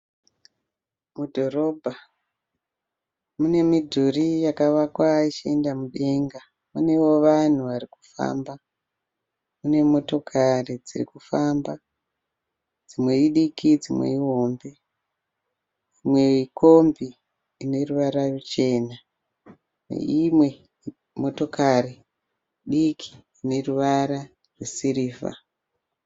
Mudhorobha, mine midhuri yakavakwa ichienda mudenga. Panewo vanhu varikufamba. Mune motokari dzirikufamba. Dzimwe idiki dzimwe ihombe. Kombi ineruvara rwuchena neimwe motokari diki ineruvara rwesirivha.